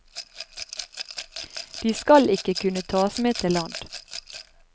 De skal ikke kunne taes med til land.